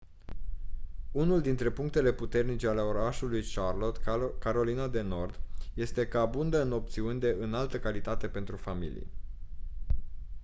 unul dintre punctele puternice ale orașului charlotte carolina de nord este că abundă în opțiuni de înaltă calitate pentru familii